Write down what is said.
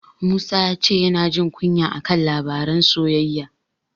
Musa ya ce yana jin kunya a kan labaran soyayya.